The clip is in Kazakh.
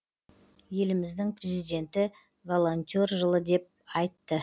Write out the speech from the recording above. еліміздің президенті волонтер жылы деп айтты